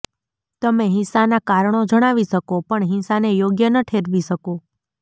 તમે હિંસાનાં કારણો જણાવી શકો પણ હિંસાને યોગ્ય ન ઠેરવી શકો